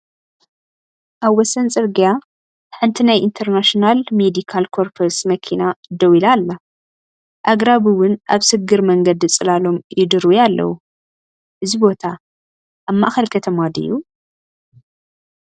ኣብ ወሰን ጽርግያ፡ ሓንቲ ናይ ኢንተርናሽናል ሜዲካል ኮርፕስ መኪና ደው ኢላ ኣላ። ኣግራብ እውን ኣብ ስግር መንገዲ ጽላሎም ይድርብዩ ኣለዉ። እዚ ቦታ ኣብ ማእከል ከተማ ድዩ?